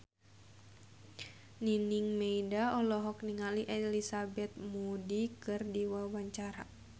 Nining Meida olohok ningali Elizabeth Moody keur diwawancara